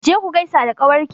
Je ku gaisa da ƙawar ki!